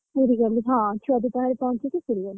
ପୁରୀ ଗଲି ହଁ ଛୁଆ ଦିଦି ଙ୍କ ଘରେ ପହଁଚିକିପୁରୀ ଗଲି।